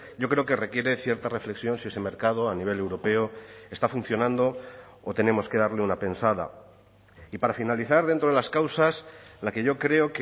yo creo que requiere cierta reflexión si ese mercado a nivel europeo está funcionando o tenemos que darle una pensada y para finalizar dentro de las causas la que yo creo